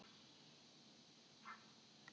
Hann sneri út af stígnum.